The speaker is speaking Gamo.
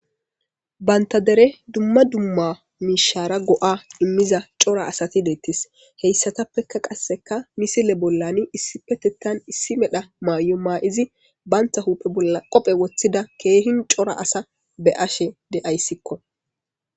Banta deren dumma dumma miishshara go'a immiza cora asati deettes. Hessatappekka qassekka misile bolla issippeteththan issi medha mayo mayidi banta huphphe bolla qophe woththida keehi cora asa be'ashe de'ayssikko.